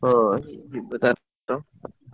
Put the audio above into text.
ହଁ ।